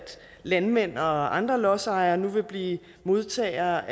landmænd og andre lodsejere nu vil blive modtagere